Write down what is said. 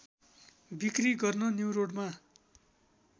बिक्री गर्न न्युरोडमा